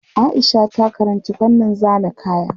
Aisha ta karanci fannin zana kaya.